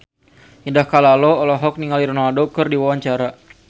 Indah Kalalo olohok ningali Ronaldo keur diwawancara